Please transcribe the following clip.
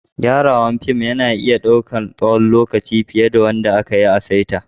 Gyarawan fim na iya dauka tsawon lokaci fiyar da wanda aka yi a'saita.